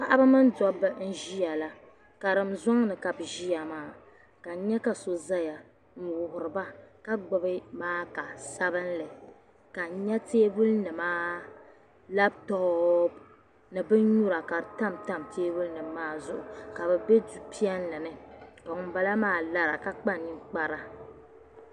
Paɣaba mini dabba n ʒiya la karim zoŋni ka bi ʒiya maa ka n nya ka so ʒɛya n wuhuriba ka gbubi maaka sabinli ka n nyɛ teebuli nimaa labitoop ni bin nyura ka di tamtam teebuli nim maa zuɣu ka bi bɛ du piɛlli ni ka ŋunbala maa lara ka kpa ninkpari